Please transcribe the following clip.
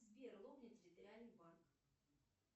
сбер лобня территориальный банк